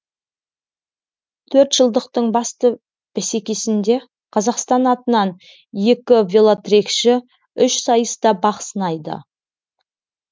төрт жылдықтың басты бәсекесінде қазақстан атынан екі велотрекші үш сайыста бақ сынайды